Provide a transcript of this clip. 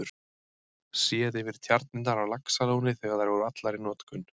Séð yfir tjarnirnar á Laxalóni þegar þær voru allar í notkun.